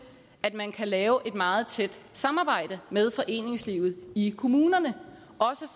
at man kan lave et meget tæt samarbejde med foreningslivet i kommunerne